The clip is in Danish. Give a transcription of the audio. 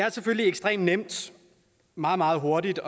er selvfølgelig ekstremt nemt meget meget hurtigt